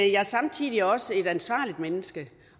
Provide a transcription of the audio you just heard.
jeg er samtidig også et ansvarligt menneske